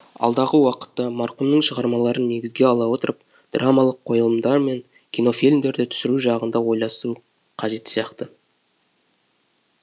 алдағы уақытта марқұмның шығармаларын негізге ала отырып драмалық қойылымдар мен кинофильмдерді түсіру жағын да ойласу қажет сияқты